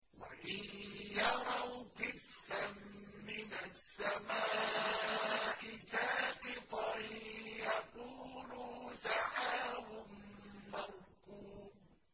وَإِن يَرَوْا كِسْفًا مِّنَ السَّمَاءِ سَاقِطًا يَقُولُوا سَحَابٌ مَّرْكُومٌ